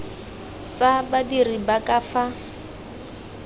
tsa badiri ba ka fa